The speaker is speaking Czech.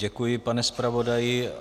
Děkuji, pane zpravodaji.